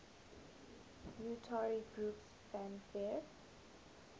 utari groups fanfare